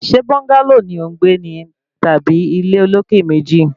Ṣe búńgálò ni ò ń gbé ní tàbí ilé olókè méjì?